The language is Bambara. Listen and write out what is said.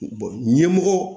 ɲɛmɔgɔ